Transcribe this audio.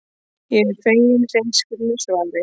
Ég er fegin hreinskilnu svarinu.